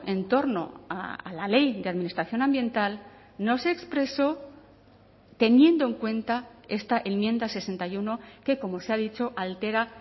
en torno a la ley de administración ambiental no se expresó teniendo en cuenta esta enmienda sesenta y uno que como se ha dicho altera